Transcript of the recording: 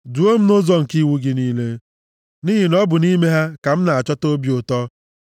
Duo m nʼụzọ nke iwu gị niile, nʼihi na ọ bụ nʼime ha ka m na-achọta obi ụtọ.